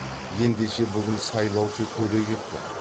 ендеше бүгін сайлаушы төре кепті